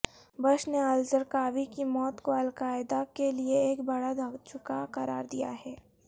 Bush نے al Zarqawi کی موت کو القاعدہ کے لیئے ایک بڑا دھچکا قرار دیا ہے